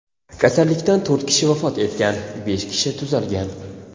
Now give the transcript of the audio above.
Kasallikdan to‘rt kishi vafot etgan, besh kishi tuzalgan.